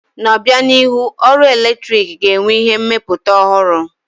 N'obianihu, ọrụ eletrik ga-enwe ihe mmepụta ọhụrụ.